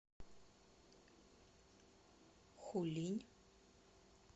хулинь